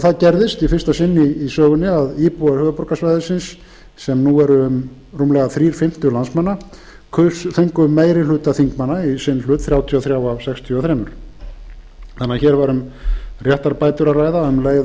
það gerðist í fyrsta sinn í sögunni að íbúar höfuðborgarsvæðisins sem nú eru um rúmlega þrír fimmtu landsmanna fengu meiri hluta þingmanna í sinn hlut þrjátíu og þrjú af sextíu og þrjú hér var því um réttarbætur að ræða um leið